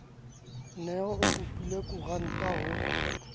ne o kopile koranta ho